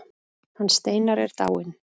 Hann Steinar er dáinn.